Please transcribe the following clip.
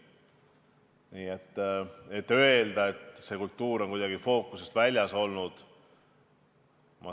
Nii et ei saa öelda, et kultuur on kuidagi fookusest väljas olnud.